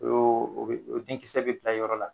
U o denkisɛ bɛ bila yɔrɔ la